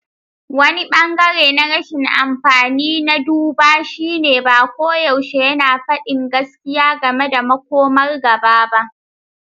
Wani ɓangare na rashin amfani na duba shine, ba koyaushe yana faɗi gaskiya game da makomar gaba ba.